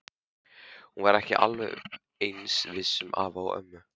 Hún var ekki alveg eins viss um afa og ömmu.